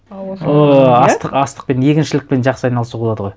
ыыы астық астықпен егіншілікпен жақсы айналысуға болады ғой